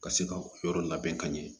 Ka se ka o yɔrɔ labɛn ka ɲɛ